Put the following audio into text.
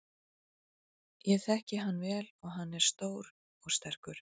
Ég þekki hann vel og hann er stór og sterkur.